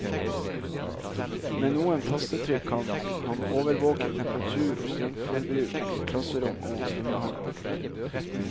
Med noen tastetrykk kan han overvåke temperatur og strømforbruk i klasserom og svømmehall.